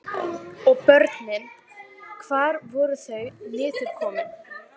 Og börnin, hvar voru þau niðurkomin?